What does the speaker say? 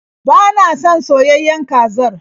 Ba na son soyayen kazar.